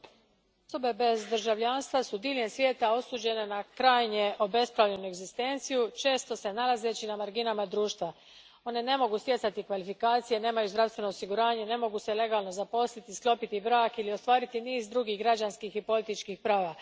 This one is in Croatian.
Gospodine predsjedniče, osobe bez državljanstva su diljem svijeta osuđene na krajnje obespravljenu egzistenciju, često se nalazeći na marginama društva. One ne mogu stjecati kvalifikacije, nemaju zdravstveno osiguranje, ne mogu se legalno zaposliti, sklopiti brak ili ostvariti niz drugih građanskih i političkih prava.